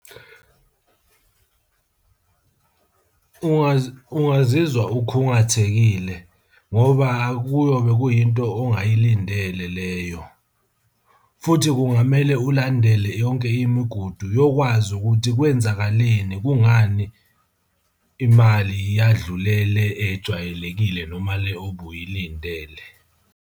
Ungazizwa ukhungathekile ngoba kuyobe kuyinto ongayilindele leyo, futhi kungamele ulandele yonke imigudu yokwazi ukuthi kwenzakaleni, kungani imali yadlule le ejwayelekile noma le obuyilindele.